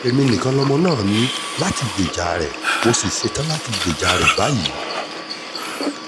èmi nìkan lọmọ náà ní láti gbèjà rẹ̀ mo sì ṣetán láti gbèjà rẹ̀ báyìí